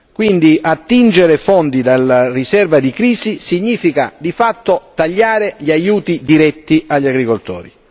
Quindi, attingere fondi dalla riserva di crisi significa di fatto tagliare gli aiuti diretti agli agricoltori.